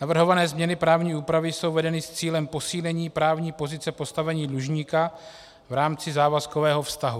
Navrhované změny právní úpravy jsou vedeny s cílem posílení právní pozice postavení dlužníka v rámci závazkového vztahu.